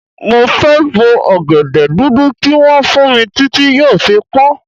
Mo fẹ́ bo ọ̀gẹ̀dẹ̀ dúdú tí wọ́n fún mi títí tí yóò fi pọ́n.